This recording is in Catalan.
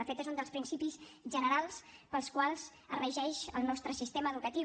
de fet és un dels principis generals pels quals es regeix el nostre sistema educatiu